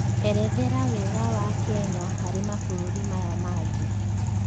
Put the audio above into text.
erethera wega wa Kenya harĩ mabũrũrĩ Maya mangi